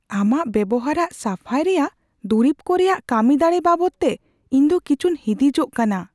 ᱟᱢᱟᱜ ᱵᱮᱵᱚᱦᱟᱨᱟᱜ ᱥᱟᱯᱷᱟᱭ ᱨᱮᱭᱟᱜ ᱫᱩᱨᱤᱵ ᱠᱚ ᱨᱮᱭᱟᱜ ᱠᱟᱹᱢᱤᱫᱟᱲᱮ ᱵᱟᱵᱚᱫᱛᱮ ᱤᱧ ᱫᱚ ᱠᱤᱪᱷᱩᱧ ᱦᱤᱸᱫᱤᱡᱚᱜ ᱠᱟᱱᱟ ᱾